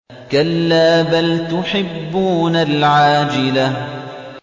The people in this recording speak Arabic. كَلَّا بَلْ تُحِبُّونَ الْعَاجِلَةَ